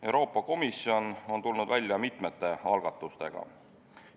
Euroopa Komisjon on tulnud välja mitmete algatustega.